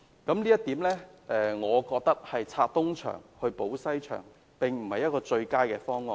我認為這是"拆東牆補西牆"，並不是最佳的方案。